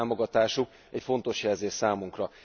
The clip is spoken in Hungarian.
Az ő támogatásuk egy fontos jelzés számunkra.